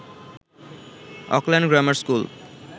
Auckland grammar school